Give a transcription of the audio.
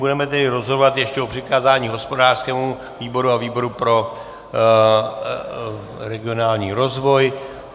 Budeme tedy rozhodovat ještě o přikázání hospodářskému výboru a výboru pro regionální rozvoj.